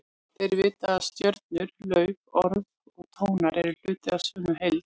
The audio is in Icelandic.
Þeir vita að stjörnur, lauf, orð og tónar eru hluti af sömu heild.